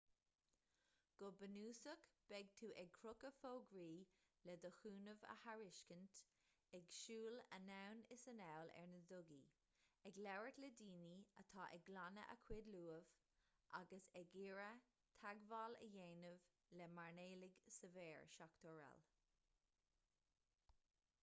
go bunúsach beidh tú ag crochadh fógraí le do chúnamh a thairiscint ag siúl anonn is anall ar na dugaí ag labhairt le daoine atá ag glanadh a gcuid luamh agus ag iarraidh teagmháil a dhéanamh le mairnéalaigh sa bheár srl